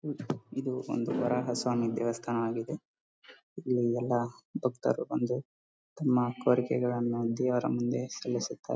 ಇದು ಒಂದು ವರಾಹ ಸ್ವಾಮಿ ದೇವಸ್ಥಾನ ಆಗಿದೆ ಇಲ್ಲಿ ಎಲ್ಲ ಭಕ್ತರು ಬಂದು ತಮ್ಮ ಕೋರಿಕೆಗಳನ್ನೂ ದೇವರ ಮುಂದೆ ಸಲ್ಲಿಸುತ್ತಾರೆ.